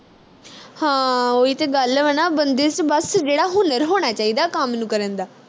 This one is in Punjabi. ਹਾਂ ਉਹੀ ਤੇ ਗੱਲ ਵਾ ਨਾ ਬੰਦੇ ਵਿਚ ਬਸ ਜਿਹੜਾ ਹੁਨਰ ਹੋਣਾ ਚਾਹੀਦਾ ਕੰਮ ਨੂੰ ਕਰਨ ਦਾ